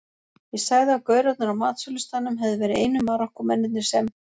Ég sagði að gaurarnir á matsölustaðnum hefðu verið einu Marokkómennirnir sem